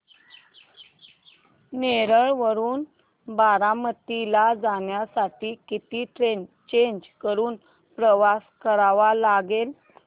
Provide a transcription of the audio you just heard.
नेरळ वरून बारामती ला जाण्यासाठी किती ट्रेन्स चेंज करून प्रवास करावा लागेल